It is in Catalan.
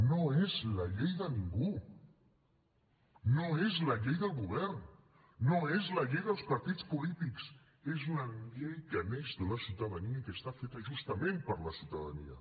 no és la llei de ningú no és la llei del govern no és la llei dels partits polítics és una llei que neix de la ciutadania i que està feta justament per a la ciutadania